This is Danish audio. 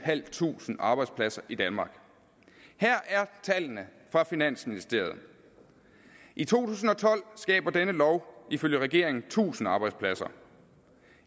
tusind arbejdspladser i danmark her er tallene fra finansministeriet i to tusind og tolv skaber denne lov ifølge regeringen tusind arbejdspladser